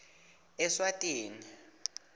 eswatini